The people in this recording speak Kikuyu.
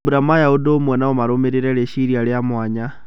Mambũra maya ũndũ ũmwe no marũmirĩre rĩciria rĩa mwanya.